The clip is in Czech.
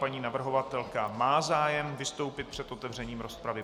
Paní navrhovatelka má zájem vystoupit před otevřením rozpravy.